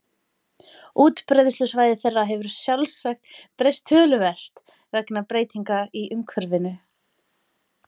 Útbreiðslusvæði þeirra hefur sjálfsagt breyst töluvert vegna breytinga í umhverfinu.